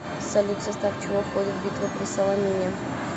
салют в состав чего входит битва при саламине